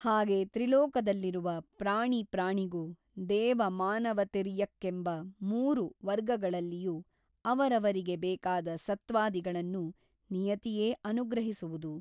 ಹಾಗೆ ತ್ರಿಲೋಕದಲ್ಲಿರುವ ಪ್ರಾಣಿ ಪ್ರಾಣಿಗೂ ದೇವ ಮಾನವತಿರ್ಯಕ್ಕೆಂಬ ಮೂರು ವರ್ಗಗಳಲ್ಲಿಯೂ ಅವರವರಿಗೆ ಬೇಕಾದ ಸತ್ವಾದಿಗಳನ್ನು ನಿಯತಿಯೇ ಅನುಗ್ರಹಿಸಿರುವುದು.